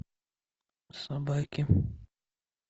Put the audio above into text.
собаки